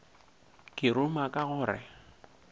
ke ruma ka go re